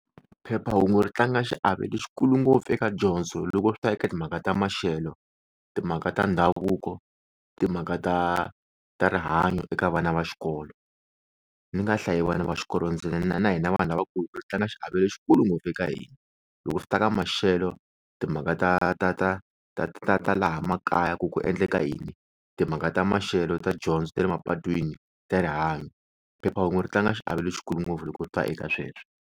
Phephahungu ri tlanga xiave lexikulu ngopfu eka dyondzo loko swi ta eka timhaka ta maxelo, timhaka ta ndhavuko, timhaka ta ta rihanyo eka vana va xikolo ni nga hlayi vana va xikolo ntsena na hina vanhu lavakulu ri tlanga xiave lexikulu ngopfu eka hina. Loko swi ta ka maxelo timhaka ta ta ta ta ta ta laha makaya ku ku endleka yini timhaka ta maxelo ta dyondzo ta mapatwini ta rihanyo, phephahungu ri tlanga xiave lexikulu ngopfu loko swi ta eka sweswo.